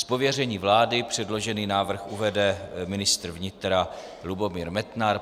Z pověření vlády předložený návrh uvede ministr vnitra Lubomír Metnar.